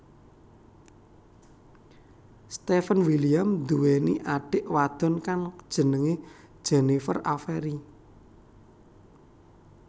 Steven William nduweni adhik wadon kang jenenge Jennifer Avery